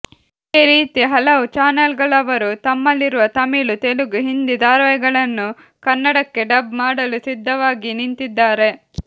ಅದೇ ರೀತಿ ಹಲವು ಚಾನೆಲ್ಗಳವರು ತಮ್ಮಲ್ಲಿರುವ ತಮಿಳು ತೆಲುಗು ಹಿಂದಿ ಧಾರವಾಹಿಗಳನ್ನು ಕನ್ನಡಕ್ಕೆ ಡಬ್ ಮಾಡಲು ಸಿದ್ಧವಾಗಿ ನಿಂತಿದ್ದಾರೆ